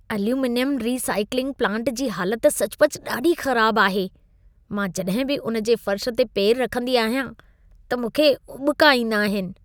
Aluminium recycling plant जी हालत सचुपचु ॾाढी ख़राब आहे। मां जॾहिं बि उन जे फ़र्श ते पेर रखंदी आहियां त मूंखे उॿिका ईंदा आहिन।